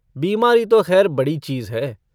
बीमारी तो ख़ैर बड़ी चीज़ है।